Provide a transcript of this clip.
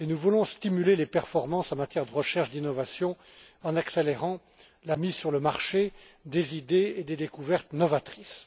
Nous voulons stimuler les performances en matière de recherche et d'innovation en accélérant la mise sur le marché des idées et des découvertes novatrices.